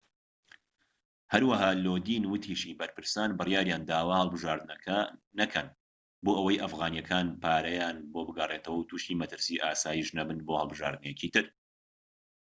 هەروەها لۆدین وتیشی بەرپرسان بڕیاریانداوە هەڵبژاردنەوەکە نەکەن بۆئەوەی ئەفغانیەکان پارەیان بۆ بگەڕێتەوەو توشی مەترسی ئاسایش نەبن بۆ هەڵبژاردنێکی تر